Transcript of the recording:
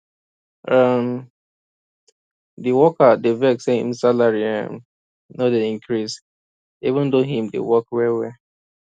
um di worker dey vex say im salary um no dey increase even though im dey work wellwell